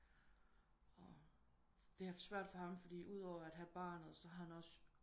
Og det har været svært for ham fordi ud over at have barnet så har han også